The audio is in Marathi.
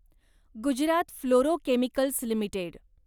Gujarat fluorochemicals limited